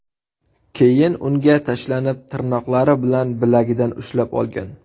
Keyin unga tashlanib, tirnoqlari bilan bilagidan ushlab olgan.